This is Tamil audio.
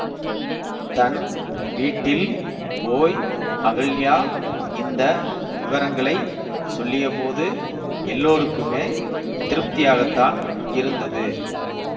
தன் வீட்டில் போய் அகல்யா இந்த விவரங்களைச் சொல்லியபோது எல்லோருக்குமே திருப்தியாகத்தான் இருந்தது